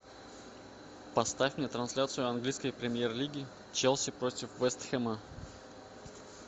поставь мне трансляцию английской премьер лиги челси против вест хэма